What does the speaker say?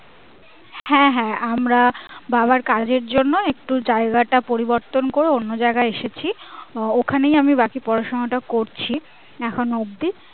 হ্যাঁ হ্যাঁ আমরা বাবার কাজের জন্য একটু জায়গাটা পরিবর্তন করে অন্য জায়গায় এসেছি আহ ওখানেই আমি বাকি পড়াশোনা টা করছি এখনো অবধি